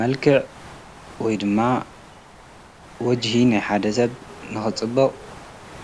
መልከዕ ወይ ድማ ወጅኂ ናይ ሓደ ሰብ ንኽጽበቕ